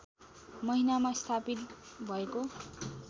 महिनामा स्थापित भएको